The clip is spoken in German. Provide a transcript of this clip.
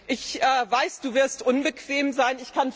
Ich weiß, Du wirst unbequem sein.